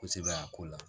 Kosɛbɛ a ko la